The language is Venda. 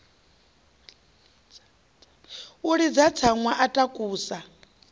a ḽidza tsaṅwa a takusa